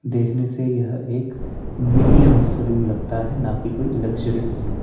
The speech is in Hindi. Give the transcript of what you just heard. देखने से यह एक मीडियम सलून लगता है ना की कोई लग्जरी सलून --